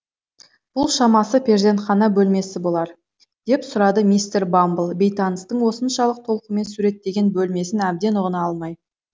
бұл шамасы перзентхана бөлмесі болар деп сұрады мистер бамбл бейтаныстың осыншалық толқумен суреттеген бөлмесін әбден ұғына алмай